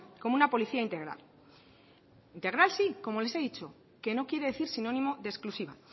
como una policía integral integral sí como les he dicho que no quiere decir sinónimo de exclusivo